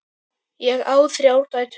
Ég á þrjár dætur.